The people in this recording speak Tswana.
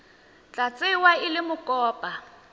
tla tsewa e le mokopa